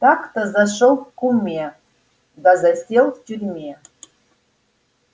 так-то зашёл к куме да засел в тюрьме